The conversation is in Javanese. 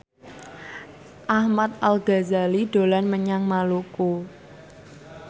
Ahmad Al Ghazali dolan menyang Maluku